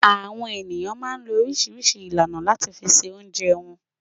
Àwọn ènìyàn máa ń lo oríṣiríṣi ìlànà láti fi se oúnjẹ wọn.